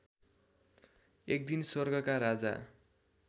एकदिन स्वर्गका राजा